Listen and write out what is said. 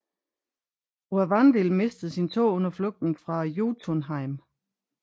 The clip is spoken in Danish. Aurvandil mistede sin tå under flugten fra Jotunheim